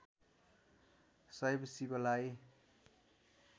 शैव शिवलाई